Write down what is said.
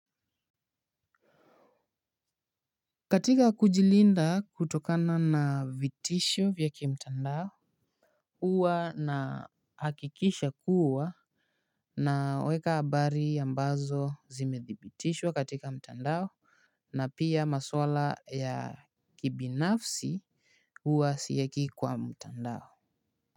Katika kujilinda kutokana na vitisho vya kimtandao huwa nahakikisha kuwa naweka habari ambazo zimedhibitishwa katika mtandao. Na pia maswala ya kibinafsi huwa sieki kwa mtandao.